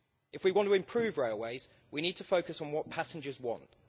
If we want to improve railways we need to focus on what passengers want.